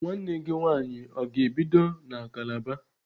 Nwanne gị nwaanyị ọ ga-ebido na Kalaba?